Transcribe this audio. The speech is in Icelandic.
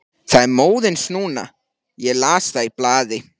Það er móðins núna, ég las það í blaði.